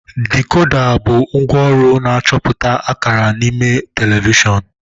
Dekoda bụ ngwaọrụ na-achọpụta akara n'ime telivishọn.